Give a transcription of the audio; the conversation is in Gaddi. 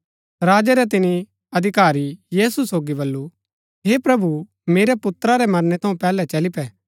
राजा रै तिनी अधिकारी यीशु सोगी बल्लू हे प्रभु मेरै पुत्रा रै मरणै थऊँ पैहलै चली पै